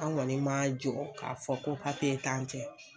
An kɔni ma jɔ k'a fɔ ko papiye t'an cɛ.